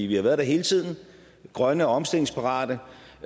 vi har været der hele tiden grønne og omstillingsparate